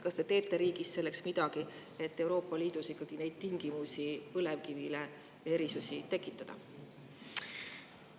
Kas te teete riigis selleks midagi, et Euroopa Liidus ikkagi neid tingimusi, põlevkivile erisusi tekitada?